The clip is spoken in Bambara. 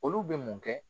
Olu bɛ mun kɛ